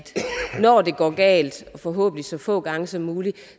når det går galt forhåbentlig så få gange som muligt